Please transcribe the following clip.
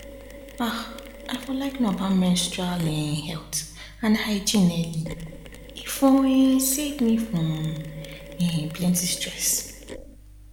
um i for like know about menstrual um health and hygiene early e for um save me um plenty stress